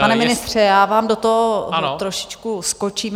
Pane ministře, já vám do toho trošičku skočím.